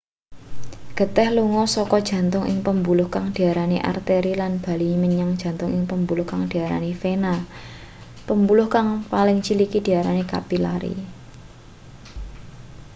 geteh lunga saka jantung ing pembuluh kang diarani arteri lan bali menyang jantung ing pembuluh kang diarani vena pembuluh kang paling ciliki diarani kapilari